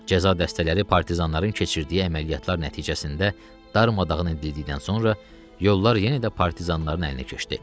Cəza dəstələri partizanların keçirdiyi əməliyyatlar nəticəsində darmadağın edildikdən sonra yollar yenə də partizanların əlinə keçdi.